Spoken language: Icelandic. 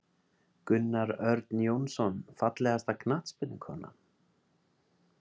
Gunnar Örn Jónsson Fallegasta knattspyrnukonan?